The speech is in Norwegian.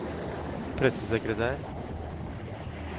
pressesekretær